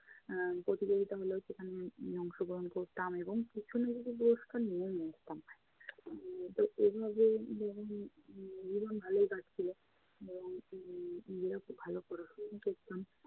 এর প্রতিযোগিতা হলে সেখানে অংশগ্রহণ করতাম এবং কিছু না কিছু পুরষ্কার নিয়েই আসতাম। তো এভাবে জী~জীবন ভালোই কাটছিলো। উম যেহেতু ভালো পড়াশোনা করতাম,